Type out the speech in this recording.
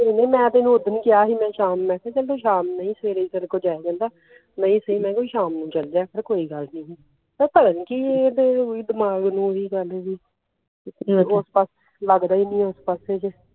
ਮੇਂ ਤਾ ਓਹਨੁ ਉਸ ਦਿਨ ਕਿਹਾ ਸੀ ਮੈ ਸਵੇਰੇ ਤੇਰੇ ਕੋਲ ਜਾਈ ਜਾਂਦਾ ਸੈਮ ਨੂੰ ਚੱਲ ਜਯਾ ਕਰ ਕੋਈ ਗੱਲ ਨੀ ਪਤਾ ਨੀ ਕਿ ਓਹਦੇ ਦਿਮਾਖ ਨੂੰ ਓਹੀ ਗੱਲ ਵੀ ਲਗਦਾ ਹੀ ਨਹੀ ਹੋਰ ਪਾਸ